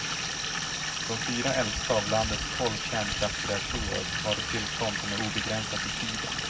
De fyra äldsta av landets tolv kärnkraftsreaktorer har ett tillstånd som är obegränsat i tiden.